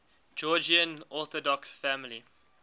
georgian orthodox family